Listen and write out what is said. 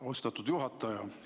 Austatud juhataja!